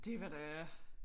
Det var da